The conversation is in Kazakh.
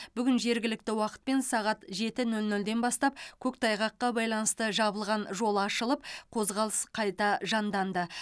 бүгін жергілікті уақытпен сағат жеті нөлнөлден бастап көктайғаққа байланысты жабылған жол ашылып қозғалыс қайта жанданды